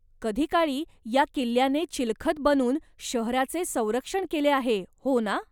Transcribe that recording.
कधीकाळी या किल्ल्याने चिलखत बनून शहराचे संरक्षण केले आहे, हो ना?